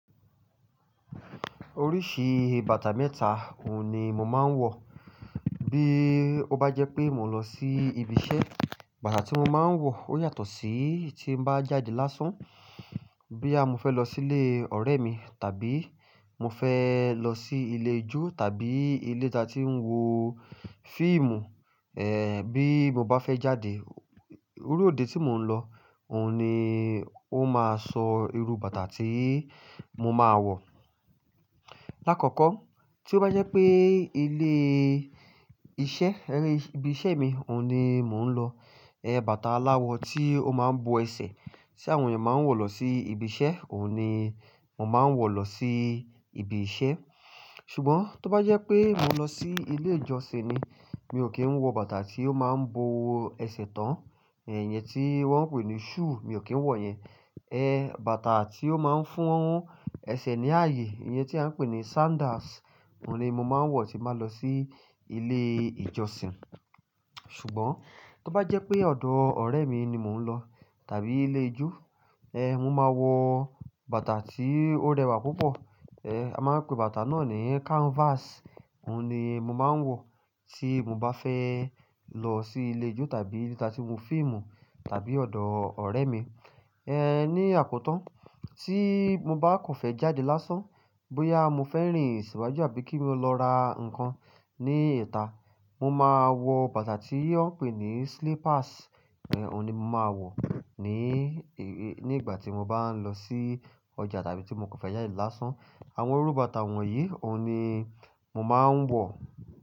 Oríṣi bàtà mẹ́ta òun ni mo máa ń wọ̀. Bí ó bá jẹ́ pé mo lọ sí ibi iṣẹ́, bàtà tí mo máa ń wọ̀ ó yàtọ̀ sí tí mo bá jáde lásán. Bí à mo fẹ́ lọ sí ilé ọ̀rẹ́ mi, tàbí mo fẹ́ lọ sí ilé ijó tàbí ilé tí a tí ń wo fíìmù, ẹ́ bí mo bá fẹ́ jáde, irú òde tí mò ń lọ, òun ni ó máa sọ irú bàtà tí mo máa wọ̀. Lákọ̀ọ̀kọ́, tí ó bá jẹ́ pé ilé iṣẹ́, ẹ́ rí ibi iṣẹ́ mi òun ni mò ń lọ, ẹ́ bàtà aláwọ tí ó máa ń bo ẹsẹ̀ tí àwọn ènìyàn máa ń wọ̀ lọ sí ibi iṣẹ́, òun ni mò máa ń wọ̀ lọ sí ibi iṣẹ́. Ṣùgbọ́n tí ó bá jẹ́ pé mo n lọ sí ilé ìjọsìn ni, mi ò kí ń wọ bàtà tí ó máa ń bo ẹsẹ̀ tán, ẹ́ ìyẹn tí wọ́n ń pè ní shoe, mi ò kí ń wọ̀ yẹn. Ẹ́ bàtà tí ó máa ń fún ẹsẹ̀ ní ààyè, ìyẹn tí à ń pè ní sandals, òun ni mo máa ń wọ̀ tí n bá lọ sí ilé ìjọsìn. Ṣùgbọ́n tí ó bá jẹ́ pé ọ̀dọ̀ ọ̀rẹ́ mi ni mò ń lọ tàbí ilé ijó, ẹ́ mo máa wọ bàtà tí ó rẹwà púpọ̀. Ẹ́ a máa ń pè bàtà náà ní canvas, òun ni mo máa ń wọ̀ tí mo bá fẹ́ lọ sí ilé ijó tàbí ibi tí a tí ń wo fíìmù tàbí ọ̀dọ̀ ọ̀rẹ́ mi. Ẹ́ ní àkótan, tí mo bá kàn fẹ́ jáde lásán, bóyá mo fẹ́ rìn síwájú àbí kí mo lọ ra nǹkan ní ìta, mo máa wọ bàtà tí wọ́n ń pè ní slippers, ẹ́ òun ni mo máa wọ̀ ní ì-- ní ìgbà tí mo bá ń lọ sí ọjà tàbí tí mo kàn fẹ́ jáde lásán. Àwọn irú bàtà wọ̀nyí òun ni mo máa ń wọ̀.